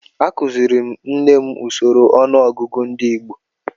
Akuziri m nne m usoro ọnụọgụgụ ndị Igbo